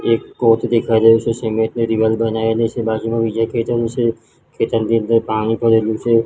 એક સિમેન્ટ ની દીવાલ બનાવેલી છે બાજુમાં બીજા ખેતરો છે ખેતરની અંદર પાણી ભરેલુ છે.